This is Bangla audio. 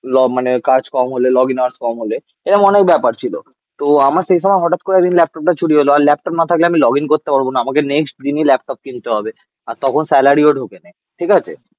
মানে কাজ কম হলে, লগইনার্স কম হলে. এরম অনেক ব্যাপার ছিল. তো আমার সেই সময় হঠাৎ করে একদিন ল্যাপটপটা চুরি হল. আর ল্যাপটপ না থাকলে আমি লগ ইন করতে পারব না. আমাকে নেক্সট দিনে ল্যাপটপ কিনতে হবে তখন স্যালারি ও ঢোকেনি. ঠিক আছে.